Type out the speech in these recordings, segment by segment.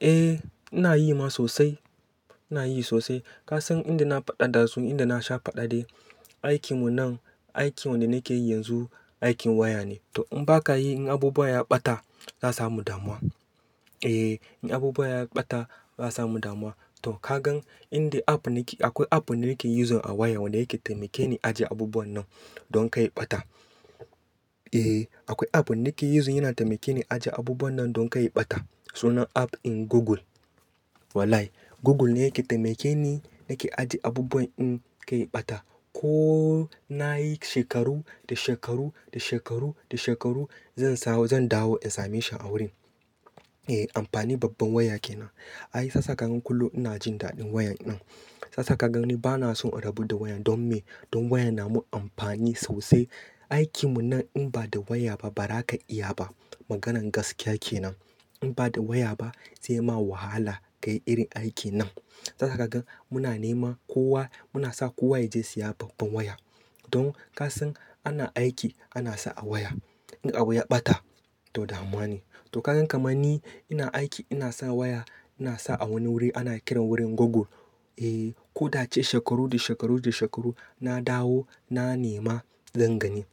Eh ina yi ma sosai, ina yi sosai. Ka san inda na faɗa da su, inda na sha faɗa dai. Aikin mu nan, aikin wanda nake yi yanzu, aikin waya ne. To in ba ka yi, in abubuwa ya ɓata, za samu damuwa. Eh in abubuwa ya ɓata, za samu damuwa. To ka gan inda app nake, akwai app nake yin so a waya wanda yake taimake ni ajiye abubuwan nan don kai ɓata. Eh akwai app nake using yana taimake ni ajiye abubuwan nan don kai ɓata. Sunan app in Google. Wallahi Google ne yake taimake ni nake ajiye abubuwan in kai ɓata. Ko nayi shekaru da shekaru da shekaru da shekaru zan samu, zan dawo in same shi a wurin. Eh amfani babban waya ke nan. Ai sassaƙa ganin kullum ina jin daɗin wayan nan. Sassaƙa ganin bana so a rabu da wayan don me? Don wayan na mun amfani sosai. Aikin mu nan in ba da waya ba ba ra ka iya ba. Maganan gaskiya ke nan. In ba da waya ba zai ma wahala kai irin aikin nan. Sa sakaga muna nema kowa, muna sa kowa ya je siya babban waya. Don ka san ana aiki ana sa a waya. In abu ya ɓata to damuwa ne. To ka gan kamar ni ina aiki ina sa waya ina sa a wani wuri ana kiran wurin Google. Eh ko dai shekaru da shekaru da shekaru na dawo na nema zan gani.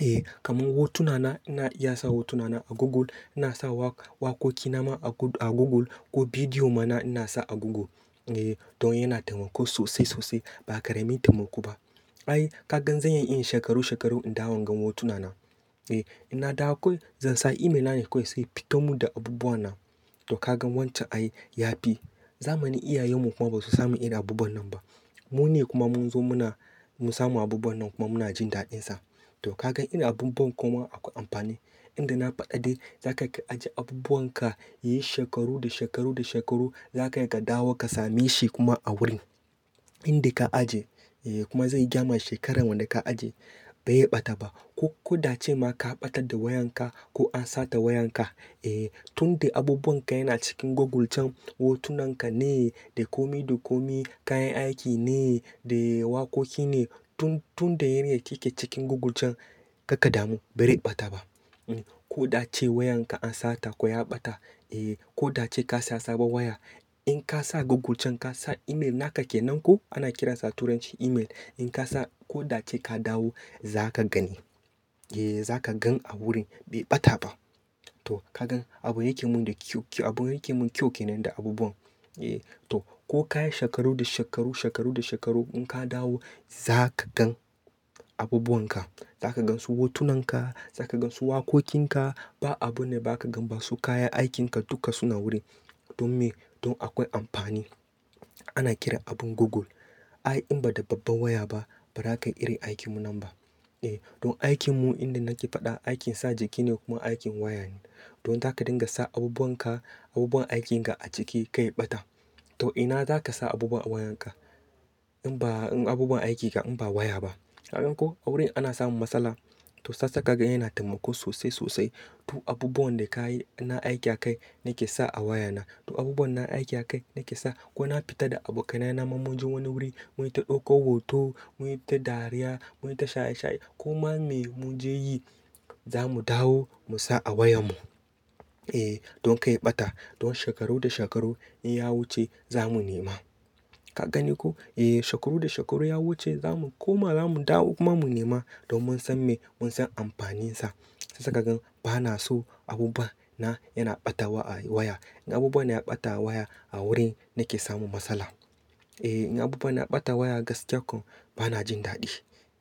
Eh kamar hotuna na ina iya sa hotuna na a Google, ina sa wa-wakoki na ma a Google ko bidiyo mana ina sa a Google. Eh don yana taimako sosai sosai ba ka raimi taimako ba. Ai kagan zanyi in shekaru shekaru in dawo inga hotuna na. Eh ina da akwai, zan sa email nake nan ko sai fita mun da abubuwa nan. To kagan wance ai yafi. Zamani iyayen mu kuma ba su samu irin abubuwan nan ba. Mu ne kuma mun zo muna, mun samu abubuwan nan kuma muna jin daɗin sa. To kagan irin abun ban kuma akwai amfani. Inda na faɗa dai za ka iya ajiye abubuwan ka yayi shekaru da shekaru da shekaru za ka iya ka dawo ka same shi kuma a wurin inda ka ajiye. Eh kuma zai gama shekaran wanda ka ajiye bai ɓata ba. Ko ko dace ma ka ɓatar da wayan ka ko an sata wayan ka, eh tunda abubuwan ka yana cikin Google can, hotunan ka ne, dakomi dakomi, kayan aiki ne, da wakoki ne tun tunda yana yake cikin Google can karka damu bare ɓata ba. Hm, ko da a ce wayan ka an sata ko ya ɓata, eh ko dai ce ka siya sabon waya. In ka sa Google can ka sa email naka ke nan ko ana kiransa turancin email. In ka sa ko dai ce ka dawo za ka gani. Eh za ka gan a wurin bai ɓata ba. To kagan abun yake mun da kyau, abun yake mun kyau ke nan da abubuwan. Eh to ko ka yi shekaru da shekaru shekaru da shekaru in ka dawo za ka gan abubuwan ka. Za ka gan su hotunan ka, za ka gan su wakokin ka. Ba abu ne ba ka gan ba su kayan aikin ka duka suna wurin. Don me? Don akwai amfani. Ana kiran abun Google. Ai in ba da babban waya ba ba za ka iya irin aikin mu nan ba. Eh don aikin mu inda nake faɗa aikin sa jiki ne kuma aikin waya ne. Don zaka dinga sa abubuwan ka, abubuwan aikin ka a ciki kai ɓata. To ina za ka sa abubuwan wayan ka in ba in abubuwan aikin ka in ba waya ba? Kagan ko a wurin ana samun matsala to sassaƙa ganin yana taimako sosai sosai. To abubuwan da ka yi, na aiki a kai nake sa a waya na. To abubuwan na aiki a kai nake sa. Ko na fita da abokanai na mun je wani wuri, mun yi ta ɗauko hoto, mun yi ta dariya, mun yi ta shaye shaye ko ma me muji yi za mu dawo mu sa a wayan mu. Eh don kai ɓata. Don shekaru da shekaru in ya wuce za mu nema. Ka gani ko? Eh shekaru da shekaru ya wuce za mu, ko ma za mu dawo kuma mu nema don mun san me? Mun san amfanin sa. Sassaƙa ganin bana so abubuwa na yana ɓatawa a waya. In abubuwa na ya ɓata waya a wurin nake samun matsala. Eh in abubuwan na ɓata waya gaskiya koh bana jin daɗi.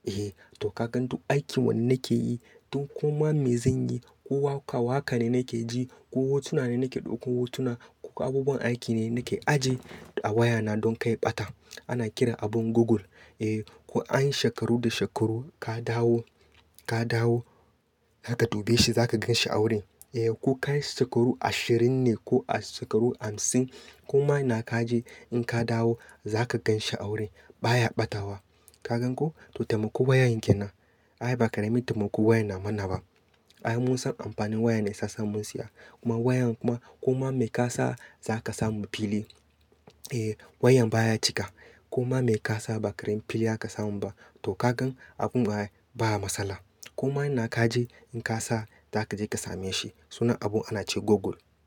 Eh to kagan duk aikin wanda nake yi, duk ko ma me zan yi, ko wakawa haka ne nake ji, ko hotuna ne nake ɗauko hotuna, ko abubuwan aiki ne nake ajiye a waya na don kai ɓata. Ana kiran abun Google. Eh ko anyi shekaru da shekaru ka dawo, ka dawo za ka dubi shi za ka gan shi a wurin. Eh ko ka yi shekaru ashirin ne ko shekaru hamsin ko ma ina ka je in ka dawo za ka gan shi a wurin baya ɓatawa. Kagan ko? To taimako wayoyin ke nan. Ai ba ka raimi taimakon waya na mana ba. Ai mun san amfanin waya ne ya sa mun siya. Kuma wayan kuma ko ma me ka sa za ka samu fili. Eh wayan baya cika. Ko ma me ka sa ba ka rain fili za ka samu ba. To kagan abun baya, baya matsala. Ko ma ina ka je in ka sa za ka je ka same shi. Sunan abun ana ce Google.